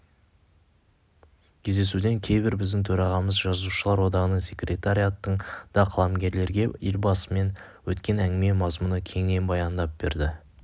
кездесуден кейін біздің төрағамыз жазушылар одағының секретариянтын да қаламгерлерге елбасымен өткен әңгіме мазмұны кеңінен баяндап берді